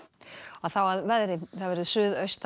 þá að veðri suðaustan